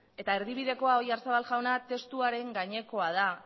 eta erdibidekoa oyarzabal jauna testuaren gainekoa da